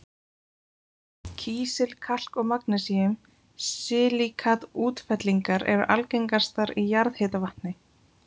Kísil-, kalk- og magnesíum-silíkat-útfellingar eru algengastar í jarðhitavatni.